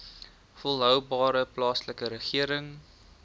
volhoubare plaaslike regering